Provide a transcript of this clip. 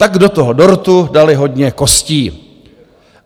Tak do toho dortu dali hodně kostí.